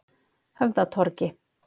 Höfðatorgi